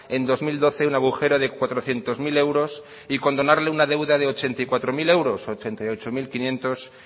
en dos mil doce un agujero de cuatrocientos mil euros y condonarle una deuda ochenta y cuatro mil euros ochenta y ocho mil quinientos